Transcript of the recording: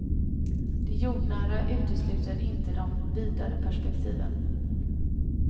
Det jordnära utesluter inte de vidare perspektiven.